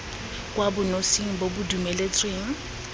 kwa bonosing bo bo dumeletsweng